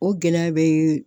O gɛlɛya bɛ